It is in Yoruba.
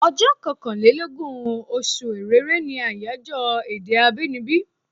Ọjọ́ kankàn lé lógún, oṣù Èrèré ní àyájọ́ èdè abínibí.